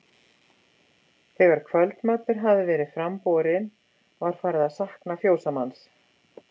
Þegar kvöldmatur hafði verið fram borinn var farið að sakna fjósamanns.